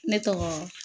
Ne tɔgɔ